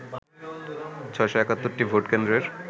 ৬৭১ টি ভোট কেন্দ্রের